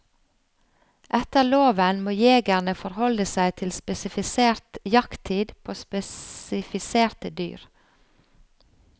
Etter loven må jegerne forholde seg til spesifisert jakttid på spesifiserte dyr.